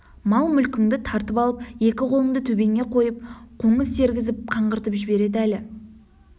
мал-мүлкіңді тартып алып екі қолыңды төбеңе қойып қоңыз тергізіп қаңғыртып жібереді әлі